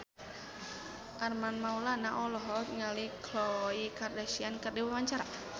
Armand Maulana olohok ningali Khloe Kardashian keur diwawancara